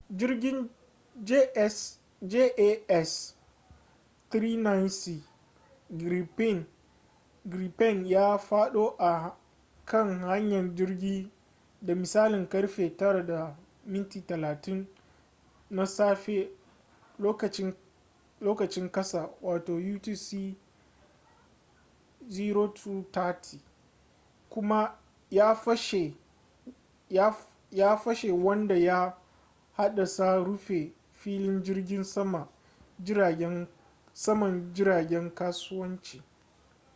jirgin jas 39c gripen ya fado a kan hanyar jirgi da misalin karfe 9:30 na safe lokacin kasa utc 0230 kuma ya fashe wanda ya haddasa rufe filin jirgin saman jiragen kasuwanci